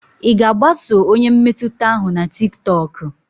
Ị ga-agbaso onye mmetụta ahụ na tiktokụ?